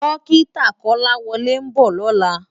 Dòkitá Kolawole n bò lòlá